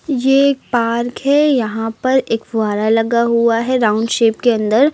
ये एक पार्क है यहां पर एक फुहारा लगा हुआ है राउंड शेप के अंदर।